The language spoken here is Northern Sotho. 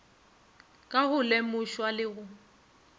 ka go lemošwa le go